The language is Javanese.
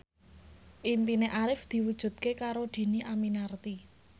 impine Arif diwujudke karo Dhini Aminarti